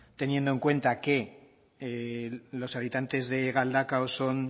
teniendo en cuenta que en los habitantes de galdakao son